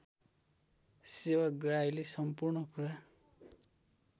सेवाग्राहीले सम्पूर्ण कुरा